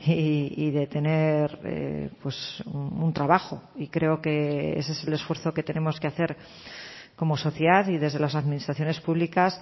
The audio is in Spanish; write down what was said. y de tener un trabajo y creo que ese es el esfuerzo que tenemos que hacer como sociedad y desde las administraciones públicas